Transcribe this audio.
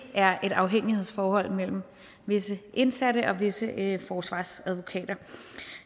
er et afhængighedsforhold mellem visse indsatte og visse forsvarsadvokater